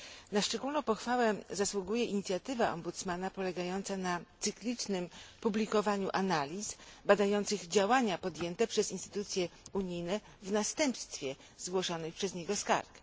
Na szczególną pochwałę zasługuje inicjatywa Ombudsmana polegająca na cyklicznym publikowaniu analiz badających działania podjęte przez instytucje unijne w następstwie zgłoszonych przez niego skarg.